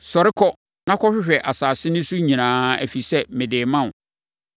Sɔre, kɔ na kɔhwehwɛ asase no so nyinaa, ɛfiri sɛ, mede rema wo.”